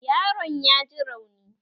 Yaron ya ji rauni